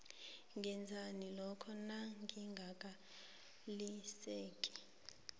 ngenzani lokha nanginganeliseki